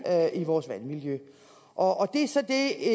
og i vores vandmiljø og det er så det